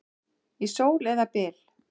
Í sól eða byl.